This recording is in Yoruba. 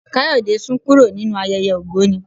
Kayode sún kúrò nínú ayẹyẹ ògbóni.